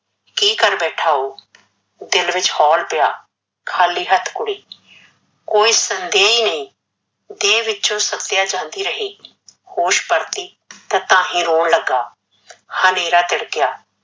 ਕੀ ਕਰ ਬੈਠਾ ਓਹ ਦਿਲ ਵਿੱਚ ਹੋਲ ਪਿਆ ਖਾਲੀ ਹੱਥ ਕੁੜੀ ਕੋਈ ਸੰਦੇਹ ਹੀ ਨਹੀਂ, ਦੇਹ ਵਿੱਚੋਂ ਸੱਤਿਆ ਜਾਂਦੀ ਰਹੀ, ਹੋਸ਼ ਪਰਤੀ ਤਾਹੀਂ ਰੋਣ ਲੱਗਾ ਹਨੇਰਾ ਤਿੜਕਿਆ